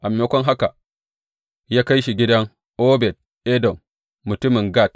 A maimakon haka, ya kai shi gidan Obed Edom mutumin Gat.